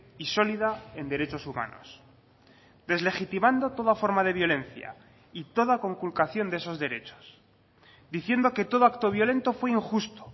y sólida en derechos humanos deslegitimando toda forma de violencia y toda conculcación de esos derechos diciendo que todo acto violento fue injusto